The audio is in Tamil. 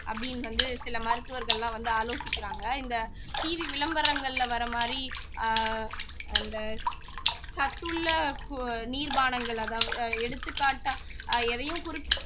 அப்படின்னு வந்து சில மருத்துவர்கள்லாம் வந்து ஆலோசிக்கிறாங்க இந்த TV விளம்பரங்கள்ல வர்ற மாதிரி ஆஹ் அந்த சத்துள்ள நீர் பானங்கள் அதாவது எடுத்துக்காட்டா எதையும்